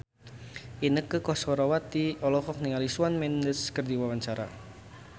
Inneke Koesherawati olohok ningali Shawn Mendes keur diwawancara